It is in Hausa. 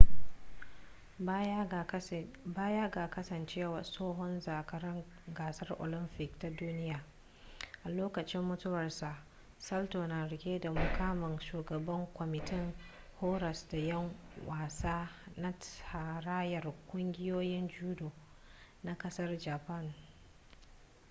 baya ga kasancewa tsohon zakaran gasar olamfik da ta duniya a lokacin mutuwarsa salto na rike da mukamin shugaban kwamitin horas da 'yan wasa na tarayyar ƙungiyoyin judo na kasar japan